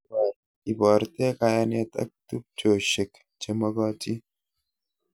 Iborte kayanet ak tubchoshek chemagatin